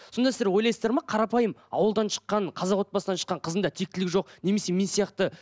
сонда сіздер ойлайсыздар ма қарапайым ауылдан шыққан қазақ отбасынан шыққан қыздың да тектілігі жоқ немесе мен сияқты